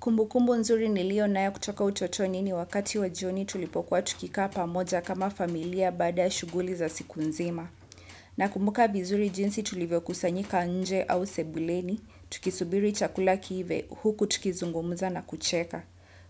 Kumbukumbu nzuri nilionayo kutoka utotoni ni wakati wa jioni tulipokuwa tukikaa pamoja kama familia baada ya shughuli za siku nzima. Na kumbuka vizuri jinsi tulivyo kusanyika nje au sebuleni, tukisubiri chakula kiive, huku tukizungumza na kucheka.